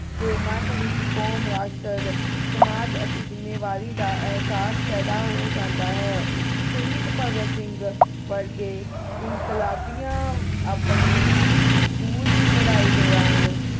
ਦੇ ਮਨ ਵਿਚ ਕੌਮ ਰਾਸ਼ਟਰ ਸਮਾਜ ਅਤੇ ਜਿੰਮੇਵਾਰੀ ਦਾ ਅਹਿਸਾਸ ਪੈਦਾ ਹੋ ਜਾਂਦਾ ਹੈ ਸ਼ਹੀਦ ਭਗਤ ਸਿੰਘ ਵਰਗੇ ਇੱਕ ਇਨਕਲਾਬੀਆਂ ਆਪਣੇ school ਦੀ ਪੜ੍ਹਾਈ ਦੌਰਾਨ